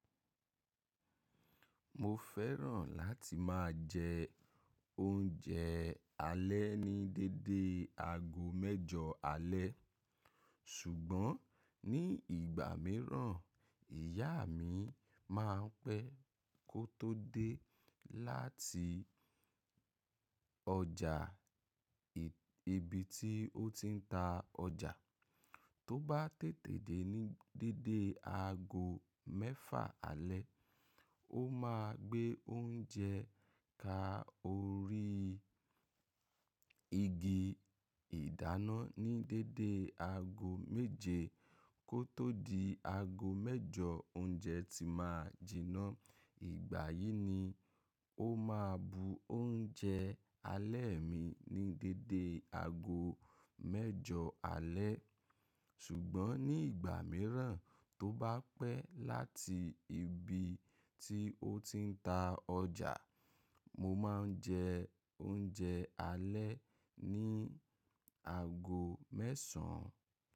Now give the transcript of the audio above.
Mo fẹ́ràn láti máa jẹ oúnjẹ alẹ́ ní dédé aago mẹ́jọ alẹ́. Ṣùgbọ́n ní ìgbà míràn, ìyá mi máa ń pẹ́ kó tó dé láti ọjà ibi tí ó ti ń ta ọjà, tó bá tètè dé ní dédé aago mẹ́fà alẹ́, ó máa gbé oúnjẹ ká orí igi. Ìdáná ní déédéé aago méje kó tó di aago mẹ́jọ oúnjẹ ti máa jiná. Ìgbà yìí ni ó máa bu oúnjẹ alẹ́ mi ní déédéé aago mẹ́jọ alẹ́. Ṣùgbọ́n ní ìgbà míràn tó bá pẹ́ láti ibi tí ó ti ń ta ọjà, mo máa ń jẹ oúnjẹ alẹ́ ní aago mẹ́sàn án.